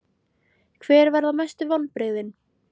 Hver verða mestu vonbrigðin?